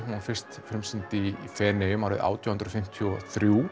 var fyrst sýnd í Feneyjum árið átján hundruð fimmtíu og þrjú